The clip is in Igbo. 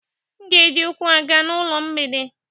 M ga-eji ụkwụ aga n'ụlọ na mgbede